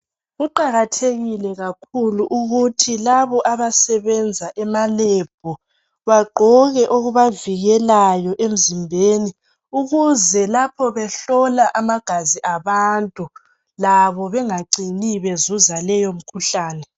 Kuqakathekile kakhulu ukuthi labo abasebenza emaLab bagqoke okubavikelayo emzimbeni ukuze lapho behlola amagazi abantu labo bengacini bezuza leyo mikhuhlane.